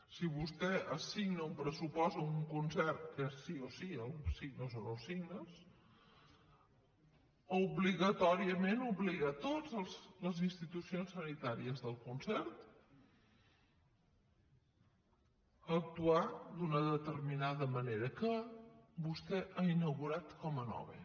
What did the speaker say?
si vostè assigna un pressupost a un concert que sí o sí el signes o no el signes obligatòriament obliga a totes les institucions sanitàries del concert a actuar d’una determinada manera que vostè ha inaugurat com a nova